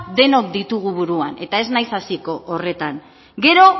denok ditugu buruan eta ez nahiz hasiko horretan gero